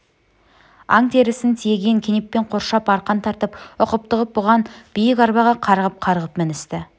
аң терісін тиеген кенеппен қоршап арқан тартып ұқыпты қып буған биік арбаға қарғып-қарғып міністі